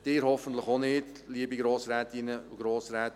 Sie hoffentlich auch nicht, liebe Grossrätinnen und Grossräte.